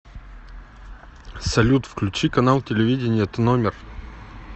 салют включи канал телевидения тномер